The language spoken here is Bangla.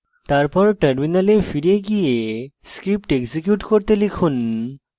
তারপর terminal ফিরে গিয়ে script execute করতে লিখুন